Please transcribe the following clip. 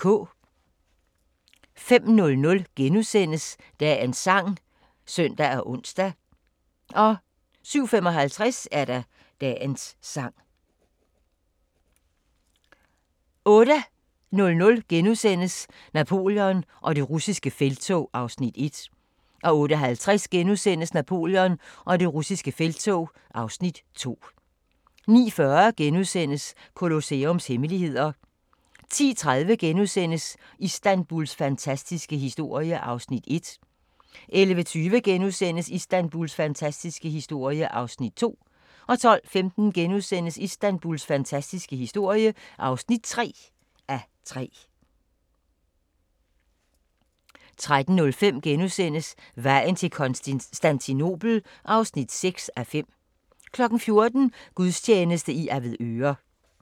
05:00: Dagens sang *(søn og ons) 07:55: Dagens sang 08:00: Napoleon og det russiske felttog (Afs. 1)* 08:50: Napoleon og det russiske felttog (Afs. 2)* 09:40: Colosseums hemmeligheder * 10:30: Istanbuls fantastiske historie (1:3)* 11:20: Istanbuls fantastiske historie (2:3)* 12:15: Istanbuls fantastiske historie (3:3)* 13:05: Vejen til Konstantinopel (5:6)* 14:00: Gudstjeneste fra Avedøre